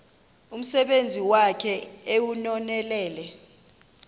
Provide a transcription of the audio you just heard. umsebenzi wakhe ewunonelele